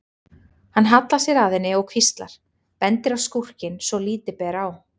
Hann hallar sér að henni og hvíslar, bendir á skúrkinn svo að lítið ber á.